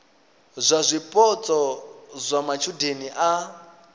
ya zwipotso zwa matshudeni a